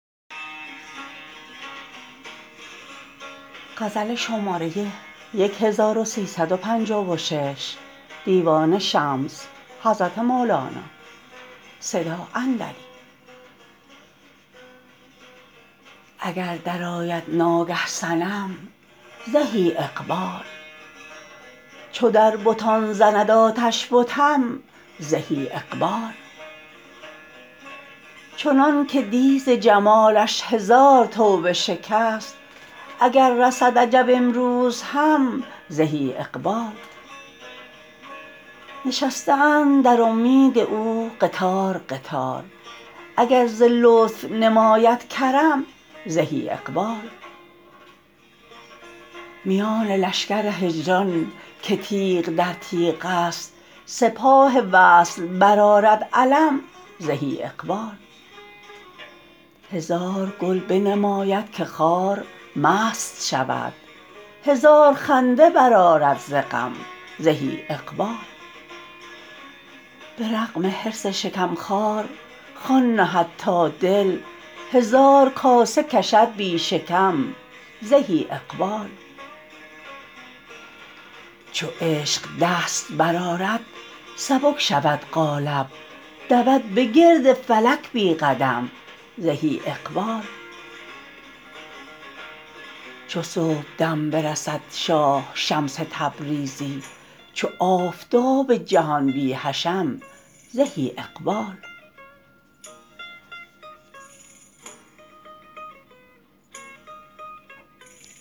اگر درآید ناگه صنم زهی اقبال چو در بتان زند آتش بتم زهی اقبال چنانک دی ز جمالش هزار توبه شکست اگر رسد عجب امروز هم زهی اقبال نشسته اند در اومید او قطار قطار اگر ز لطف نماید کرم زهی اقبال میان لشکر هجران که تیغ در تیغست سپاه وصل برآرد علم زهی اقبال هزار گل بنماید که خار مست شود هزار خنده برآرد ز غم زهی اقبال به رغم حرص شکم خوار خوان نهد با دل هزار کاسه کشد بی شکم زهی اقبال چو عشق دست برآرد سبک شود قالب دود بگرد فلک بی قدم زهی اقبال چو صبحدم برسد شاه شمس تبریزی چو آفتاب جهان بی حشم زهی اقبال